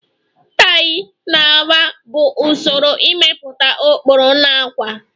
Tayi na agba bụ usoro ịmepụta ụkpụrụ na ákwà